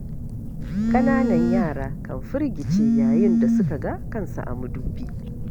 Ƙananan yara kan firgice yayin da suka ga kansu a madubi.